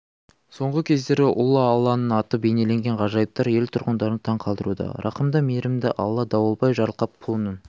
соңғы кездері ұлы алланың аты бейнеленген ғажайыптар ел тұрғындарын таң қалдыруда рақымды мейірімді алла дауылбай жарылқапұлының